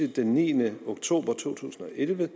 den niende oktober to tusind og elleve